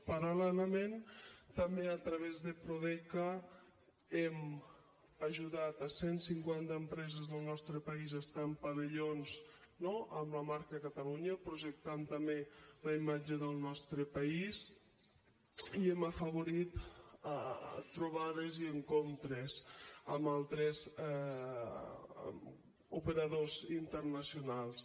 paral·lelament també a través de prodeca hem ajudat cent cinquanta empreses del nostre país a estar en pavellons no amb la marca catalunya projectant també la imatge del nostre país i hem afavorit trobades encontres amb altres operadors internacionals